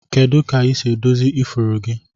Kedu ka isi edozi ifuru gi?